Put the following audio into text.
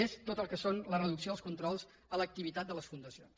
és tot el que és la reducció dels controls de l’activitat de les fundacions